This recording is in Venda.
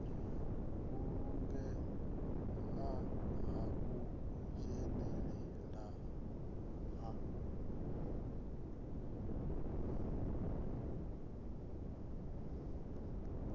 vhulungea ha u dzhenelelana ha